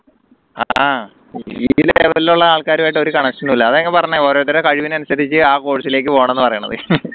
ഉള്ള ആൾക്കാരെ ആയിട്ട് ഒരു connection ഇല്ല അതാ ഞാൻ പറഞ്ഞ ഓരോരുത്തരെ കഴിവിനനുസരിച്ച് ആ course ലേക്ക് പോണംന്ന് പറയുന്നത്